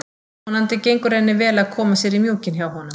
Vonandi gengur henni vel að koma sér í mjúkinn hjá honum.